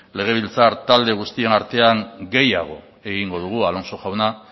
legebiltzar talde guztion artean gehiago egingo dugu alonso jauna